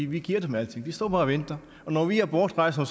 vi giver dem alting de står bare og venter når vi er bortrejst om